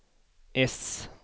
äss